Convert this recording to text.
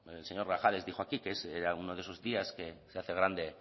el señor grajales dijo aquí que era uno de esos días que se hace grande